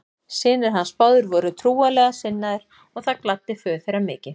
Synir hans báðir voru trúarlega sinnaðir og það gladdi föður þeirra mikið.